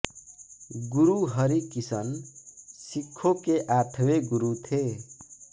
गुरु हरि किशन सिक्खों के आठवें गुरु थे